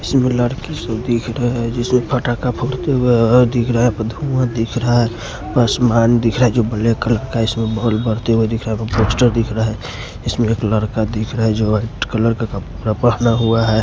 इसमें लड़की को दिख रहा है जो फटाका फोड़ते हुए दिख रहा है धुआ दिख रहा है बसमान दिख रहा है जो ब्लैक कलर का इसमें बॉल बढ़ते हुए दिख रहा है पोस्टर दिख रहा है इसमें एक लड़का दिख रहा हैजो वाइट कलर का कपड़ा पहना हुआ है।